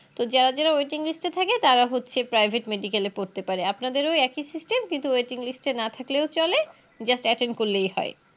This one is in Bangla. তো যারা যারা Waiting list এ থাকে তারা হচ্ছে Private medical এ পড়তে পারে আপনাদেরও ওই একই System কিন্তু Waiting list এ না থাকলেও চলে Just attend করলেই হয়